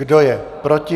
Kdo je proti?